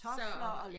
Man havde kartofler